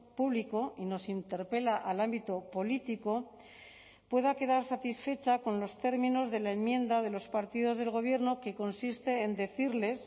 público y nos interpela al ámbito político pueda quedar satisfecha con los términos de la enmienda de los partidos del gobierno que consiste en decirles